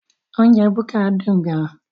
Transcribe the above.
Oúnjẹ búkà dùn gan